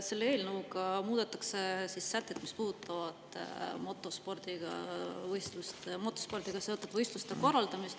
Selle eelnõuga muudetakse sätet, mis puudutab motospordiga seotud võistluste korraldamist.